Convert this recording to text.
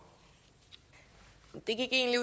det er egentlig